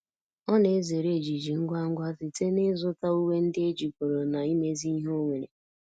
ọ na ezere ejiji ngwa ngwa site na izu ta uwe ndi ejigoro na imezi ihe onwere